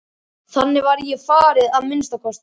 Þannig var mér farið að minnsta kosti.